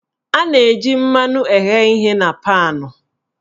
A na-eji mmanụ eghe ihe na paanụ